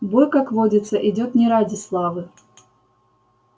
бой как водится идёт не ради славы